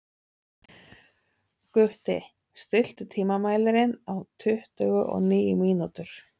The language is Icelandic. Gutti, stilltu tímamælinn á tuttugu og níu mínútur.